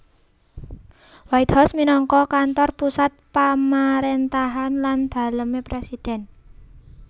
White House minangka kantor pusat pamaréntahan lan dalemé presiden